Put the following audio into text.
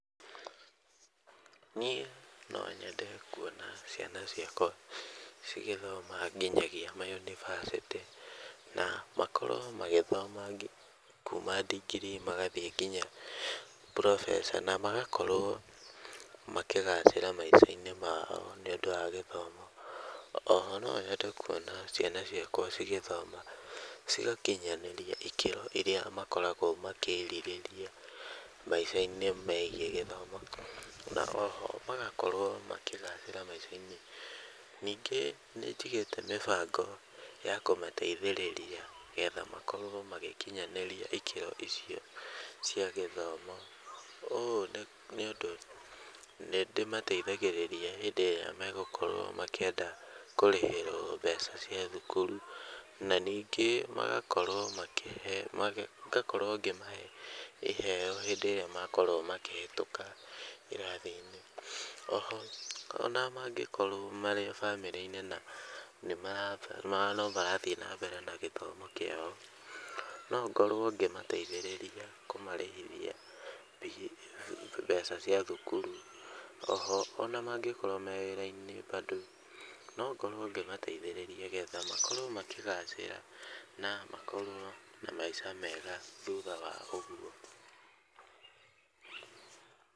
Niĩ no nyende kuona ciana ciakwa cigĩthoma nginyagia ma yunivasĩtĩ, makorwo magĩthoma kuuma ndigiri magathiĩ nginya professor na magakorwo makĩgacĩra maica-inĩ mao nĩ ũndũ wa gĩthomo. O ho no nyende kuona ciana ciakwa cigĩthoma cigakinyanĩria ikĩro irĩa makoragwo makĩrirĩria maicainĩ megiĩ gĩthomo, na o ho magakorwo makĩgacĩra maica-inĩ. Ningĩ nĩ njigĩte mĩbango ya kũmateithĩrĩria getha makorwo magĩkinyanĩria ĩkĩro icio cia gĩthomo. Ũũ nĩ ũndũ nĩ ndĩmateithagĩrĩria hĩndĩ ĩrĩa mekwenda kũrĩhĩrwo mbeca cia thukuru. Na ningĩ ngakorwo ngĩmahe iheo hĩndĩ ĩrĩa makorwo makĩhĩtũka irathi-inĩ. O ho ona mangĩkorwo marĩ famĩlĩ-inĩ na no marathiĩ nambere na gĩthomo kĩao, no ngorwo ngĩmagathĩrĩria kũmarĩhithia mbeca cia thukuru. O ho ona mangĩkorwo marĩ wĩra-inĩ bado no ngorwo ngĩmateithĩrĩria getha makorwo makĩgacĩra, na makorwo na maica mega thutha wa ũguo.